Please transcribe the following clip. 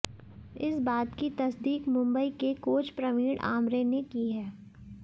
इस बात की तस्दीक मुंबई के कोच प्रवीण आमरे ने की है